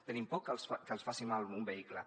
tenim por que els faci mal un vehicle